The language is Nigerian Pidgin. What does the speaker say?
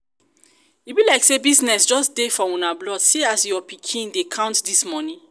e be like say business just dey for una blood see as your pikin dey count dis money